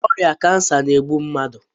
Ọrịa kansa na-egbu mmadụ.